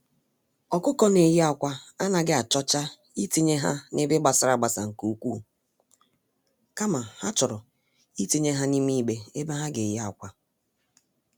ọkụkọ-ndị-neyi-ákwà anaghị achọcha itinye ha n'ebe gbasara-agbasa nke ukwu, kama ha chọrọ itinye ha n'ime igbe ebe ha geyi ákwà.